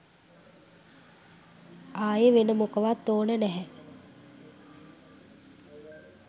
ආයෙ වෙන මොකවත් ඕන නැහැ.